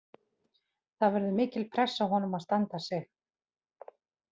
Það verður mikil pressa á honum að standa sig.